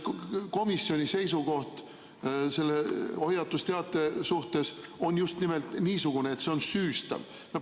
Kas komisjoni seisukoht selle hoiatusteate suhtes on just nimelt niisugune, et see on süüstav?